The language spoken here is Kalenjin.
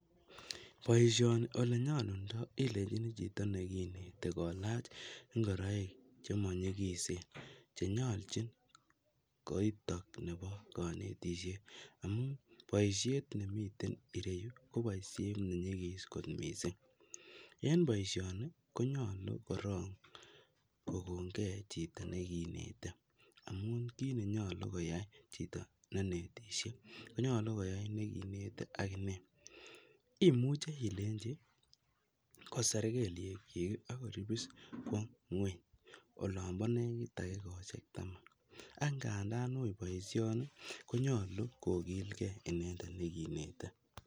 Boishoni ole nyolundo ilenjinii chito nekinete kolach ingoroik chemonyikisen chenyolji koitok nebo konetishet amun boishet nemiten ireyiu ko boishet nenyigis kot missing, en boishoni konyolu korong kokon gee chito nekinete amun kit nenyolu koyai chito ne inetishe konyolu koyai nekinete ak inei, imuche ilenchi koser kelyek kyik ak koribis kwo ngueny olompo nekit takikoshek tama ak ngandan ui boishoni konyolu kokilgee inendet nekinete.